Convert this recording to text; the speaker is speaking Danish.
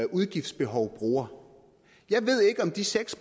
udgiftsbehov bruger jeg ved ikke om de seks